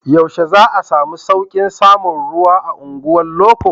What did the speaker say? Yaushe za a samu sauƙin samun ruwa a unguwar loko?